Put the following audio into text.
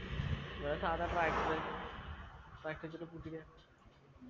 അത് സാധാ tractor tractor വെച്ചിട്ട് പൂട്ടിക്കെ